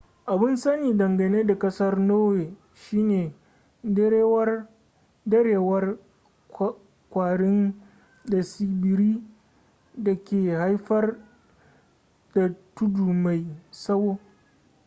abun sani dangane da kasar norway shine darewar kwarin da tsibiri dake haifar da tudu mai tsawo